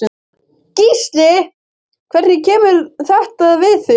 Gísli: Hvernig kemur þetta við þig?